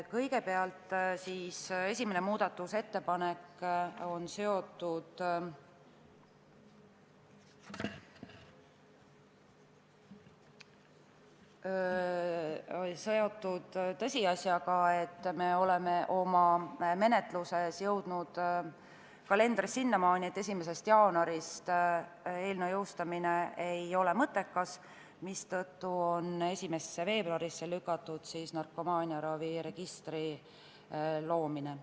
Esimene muudatusettepanek on seotud tõsiasjaga, et me oleme oma menetluses jõudnud sinnamaale, et 1. jaanuarist eelnõu seadusena jõustamine ei ole mõttekas, mistõttu on narkomaaniaraviregistri loomine lükatud 1. veebruarile.